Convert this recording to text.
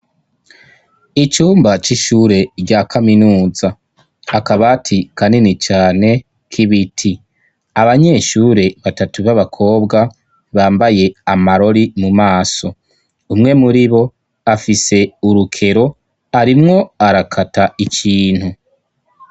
Icumba c'ishure rya kaminuza. Akabati kanini cane k'ibiti. Abanyeshure batatu b'abakobwa bambaye amarori mu maso, umwe muri bo afise urukero arimwo arakata ikintu.